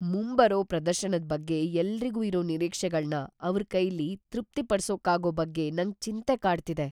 ಮುಂಬರೋ ಪ್ರದರ್ಶನದ್‌ ಬಗ್ಗೆ ಎಲ್ರಿಗೂ ಇರೋ ನಿರೀಕ್ಷೆಗಳ್ನ ಅವ್ರ್‌ ಕೈಲಿ ತೃಪ್ತಿಪಡ್ಸೋಕಾಗೋ ಬಗ್ಗೆ ನಂಗ್‌ ಚಿಂತೆ ಕಾಡ್ತಿದೆ.